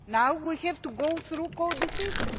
Now we have to go through co decision.